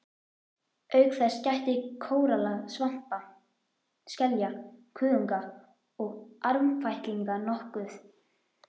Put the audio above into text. Auk þess gætti kóralla, svampa, skelja, kuðunga og armfætlinga nokkuð.